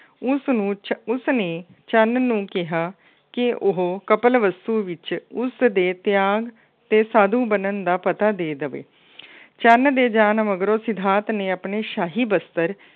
ਉਸਨੂੰ ਉਸਨੇ ਚੰਨ ਨੂੰ ਕਿਹਾ ਕਿ ਉਹ ਕਪਲਵਸਤੂ ਵਿੱਚ ਉਸਦੇ ਤਿਆਗ ਅਤੇ ਸਾਧੂ ਬਣਨ ਦਾ ਪਤਾ ਦੇ ਦੇਵੇ। ਚੰਨ ਦੇ ਜਾਣ ਮਗਰੋਂ ਸਿਧਾਰਥ ਨੇ ਆਪਣੀ ਸ਼ਾਹੀ ਬਸਤਰ